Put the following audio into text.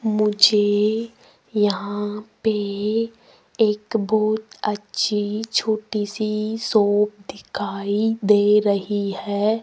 मुझे यहां पे एक बहुत अच्छी छोटी सी एक शॉप दिखाई दे रही है।